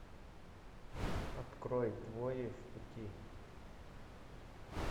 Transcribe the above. открой двое в пути